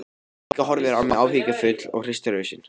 Bylgja horfir á mig áhyggjufull og hristir hausinn.